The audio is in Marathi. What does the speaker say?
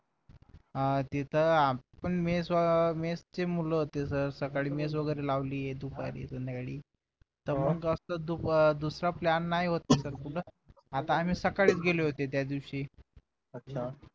अं तिथं आपण मेस मेसचे मुलं होते सर सकाळी मेस वगैरे लावलीये दुपारी संध्याकाळी तेव्हा कस दुसरा plan नाही होत आता आम्ही सकाळीच गेले होते त्यादिवशी